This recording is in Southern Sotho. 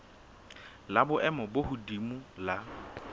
la boemo bo hodimo la